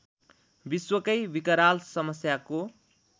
विश्वकै विकराल समस्याको